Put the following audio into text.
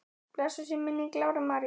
Blessuð sé minning Láru Maríu.